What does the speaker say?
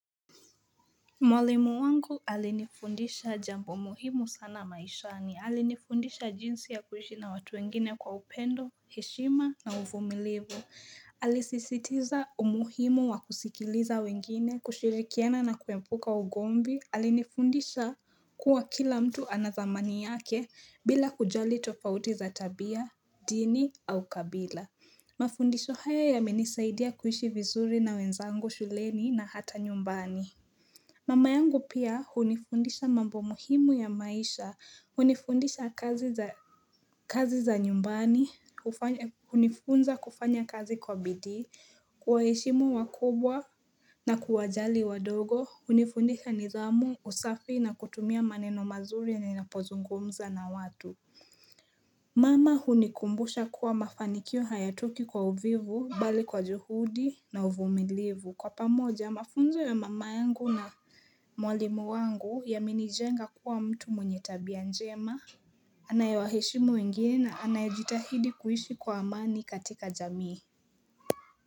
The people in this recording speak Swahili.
Mwalimu wangu alinifundisha jambo muhimu sana maishani. Alinifundisha jinsi ya kuishi na watu wengine kwa upendo, heshima na uvumilivu Alisisitiza umuhimu wa kusikiliza wengine, kushirikiana na kuepuka ugomvi. Alinifundisha kuwa kila mtu ana dhamani yake bila kujali tofauti za tabia, dini au kabila Mafundisho haya yamenisaidia kuishi vizuri na wenzangu shuleni na hata nyumbani Mama yangu pia hunifundisha mambo muhimu ya maisha, hunifundisha kazi za kazi za nyumbani, hufanya hunifunza kufanya kazi kwa bidii, kuwaheshimu wakubwa na kuwajali wadogo, hunifundisha nidhamu, usafi na kutumia maneno mazuri ninapozungumza na watu. Mama hunikumbusha kuwa mafanikio hayatoki kwa uvivu, bali kwa juhudi na uvumilivu. Kwa pamoja, mafunzo ya mama yangu na mwalimu wangu yamenijenga kuwa mtu mwenye tabia njema, anayewaheshimu wengine na anayejitahidi kuishi kwa amani katika jamii.